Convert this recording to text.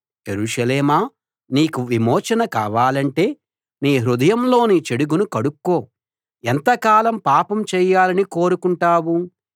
యెరూషలేమా నీకు విమోచన కావాలంటే నీ హృదయంలోని చెడుగును కడుక్కో ఎంతకాలం పాపం చేయాలని కోరుకుంటావు